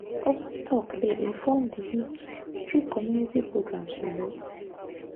open talk dey inform di youth through community programs you know… pause